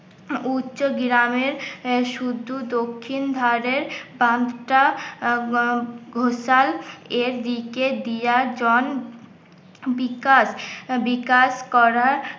উচ্চ গ্রামে শুধু দক্ষিণ ধারের পাঁচটা এ দিকে দিয়ার জন বিকাশ করার